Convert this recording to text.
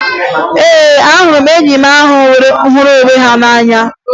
Ee, ahụrụ m ndị enyi ahụ hụrụ onwe ha n'anya